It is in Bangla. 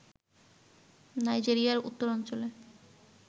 নাইজেরিয়ার উত্তরাঞ্চলে